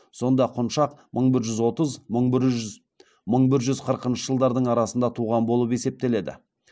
сонда құншақ мың бір жүз отыз қырқыншы жылдардың арасында туған болып есептеледі